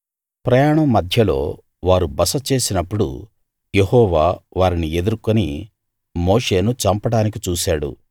ప్రయాణం మధ్యలో వారు బస చేసినప్పుడు యెహోవా వారిని ఎదుర్కొని మోషేను చంపడానికి చూశాడు